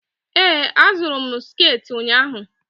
Ee, azụrụ m sekit ụnyaahụ.